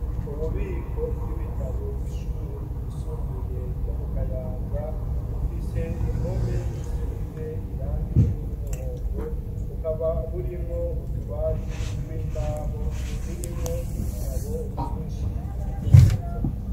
Ububiko bw'ibitabo, bw'ishure ryisumbuye ryo mu Kayanza, bufise impome zisize irangi ry'umuhondo, bukaba burimwo utubati tw'imbaho, turimwo ibitabo vyinshi, bimeze neza.